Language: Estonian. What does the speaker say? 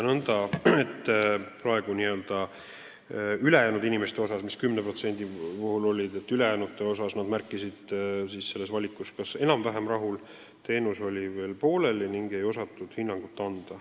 Võin ka öelda nõnda, et ülejäänud inimesed, need 10% märkisid vastuses, et nad on kas enam-vähem rahul või teenus oli veel pooleli ning ei osatud hinnangut anda.